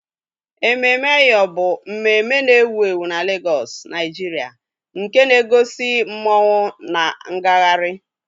EmemeEyo bụ mmemme na-ewu ewu na Lagos, Nigeria, nke na-egosi masquerades na ngagharị.